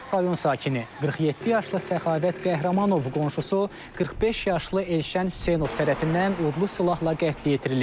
Rayon sakini 47 yaşlı Səxavət Qəhrəmanov qonşusu 45 yaşlı Elşən Hüseynov tərəfindən odlu silahla qətlə yetirilib.